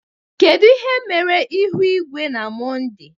kedu ihe mere ihu igwe na Mọnde?